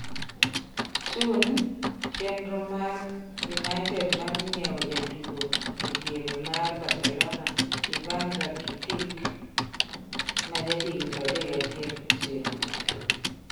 (Sun) Chenro mar United mar nyiewo jatugo ediere mar Barcelona Ivan Rakitic, ma jahigni 31, oserumo.